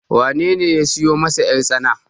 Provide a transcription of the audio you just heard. wanene ya siyo masa yartsana?